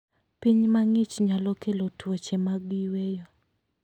Piny mang'ich nyalo kelo tuoche mag yweyo.